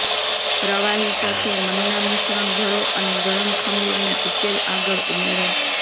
પ્રવાહી સાથે મન્ના મિશ્રણ ભરો અને ગરમ ખમીરનો ઉકેલ આગળ ઉમેરો